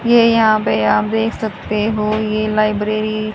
ये यहां पे आप देख सकते हो ये लाइब्रेरी --